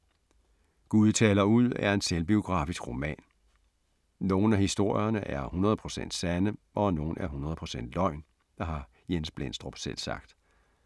Gud taler ud er en selvbiografisk roman. Nogle af historierne er 100 procent sande og nogle er 100 procent løgn, har Jens Blendstrup selv sagt.